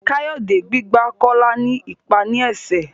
Kayode gbígbà Kola ní ipá ní esè.